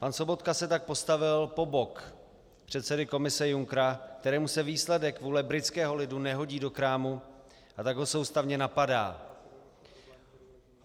Pan Sobotka se tak postavil po bok předsedy Komise Junckera, kterému se výsledek vůle britského lidu nehodí do krámu, a tak ho soustavně napadá.